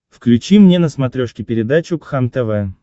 включи мне на смотрешке передачу кхлм тв